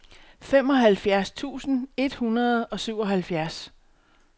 femoghalvfjerds tusind et hundrede og syvoghalvfjerds